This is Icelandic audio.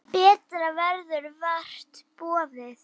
Betra verður vart boðið.